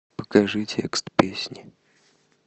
покажи текст песни